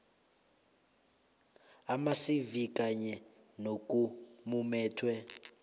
amacv kunye nokumumethwe